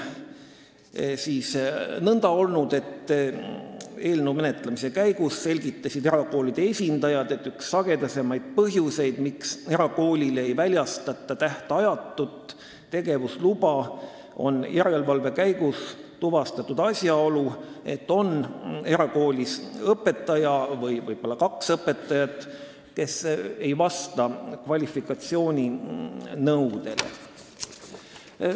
Nagu eelnõu menetlemise käigus selgitasid erakoolide esindajad, on seni olnud üks sagedasemaid põhjuseid, miks erakoolile ei ole tähtajatut tegevusluba väljastatud, järelevalve käigus tuvastatud asjaolu, et erakoolis võib olla mõni õpetaja, võib-olla ka paar õpetajat, kes ei vasta kvalifikatsiooninõudele.